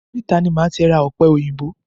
Oríta ni máa ti ra ọ̀pẹ òyìnbó.